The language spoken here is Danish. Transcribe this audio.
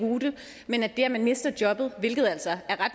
deroute men at det at man mister jobbet hvilket er ret